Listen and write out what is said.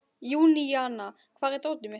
Júníana, hvar er dótið mitt?